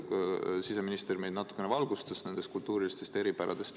Siseminister meile natukene valgustas neid kultuurilisi eripärasid.